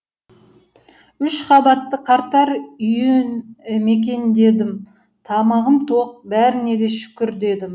үш қабатты қарттар үйін мекендедім тамағым тоқ бәріне де шүкір дедім